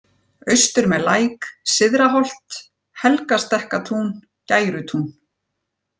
Austur með Læk, Syðraholt, Helgastekkatún, Gærutún